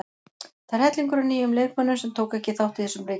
Það er hellingur af nýjum leikmönnum sem tóku ekki þátt í þessum leikjum.